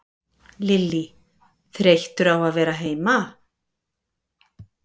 Lillý: Þreyttur á að vera heima?